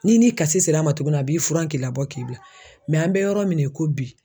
N'i ni kasi ser'a ma tugun a b'i furan k'i labɔ k'i bila mɛ an bɛ yɔrɔ min na i ko bi